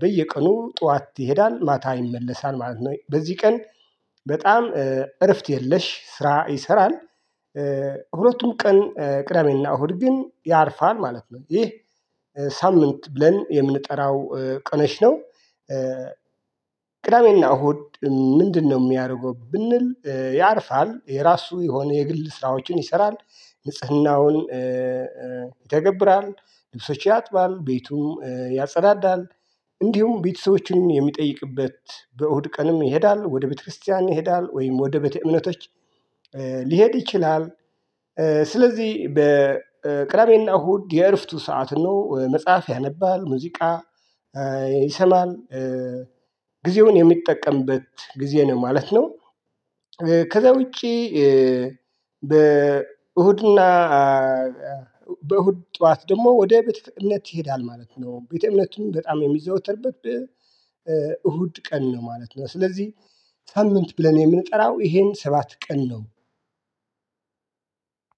በየቀኑ ጠዋት ይሄዳል ማታ ይመለሳል ማለት ነው በዚህ ቀን በጣም እረፍት የለሽ ስራ ይሰራል። ሁለቱም ቀን ቅዳሜና እሁድ ግን ያርፋል ማለት ነው። ይህ ሳምንት ብለን የምንጠራው ቀኖች ነው። ቅዳሜና እሁድ ምንድነው? የሚያደርገው ብንል ያርፋል የራሱ የሆኑ የግል ስራዎችን ይሰራል ንጽህናውን ይተገብራል ልብሶች ያጥባል ቤቱም ያጸዳዳል። እንዲሁም ቤተሰቦችን የሚጠይቅበት በእሁድ ቀንም ይሄዳል ወደ ቤተክርስቲያን ይሄዳል ወይም ወደ ቤተ እምነቶች ሊሄድ ይችላል። ስለዚህ በቅዳሜና እሁድ የእርፍቱ ሰዓት ነው መጽሐፍ ያነባል ሙዚቃ ይሰማል። ጊዜውን የሚጠቀምበት ጊዜ ነው ማለት ነው። ከዚያ ውጪ። በእሁድና በእሁድ ጠዋት ደግሞ ወደ ቤተ እምነት ይሄዳል ማለት ነው ቤተ እምነቱን በጣም የሚዘወተርበት እሁድ ቀን ነው ማለት ነው። ስለዚህ ሳምንት ብለን የምንጠራው ይሄን ሰባት ቀን ነው።